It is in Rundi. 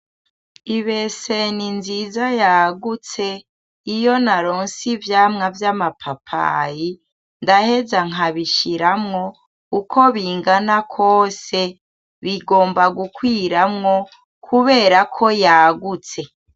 Ibese ni nziza yagutse iyo naronse ivyamwa vy'amapapayi ndaheza nkabishiramwo uko bingana kose bigomba gukwiramwo kubera ko yagutse.